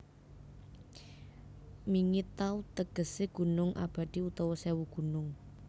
Mingi Taw tegesé gunung abadi utawa sèwu gunung